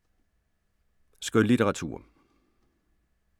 Skønlitteratur